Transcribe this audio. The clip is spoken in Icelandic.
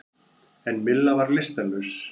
En Milla var lystarlaus.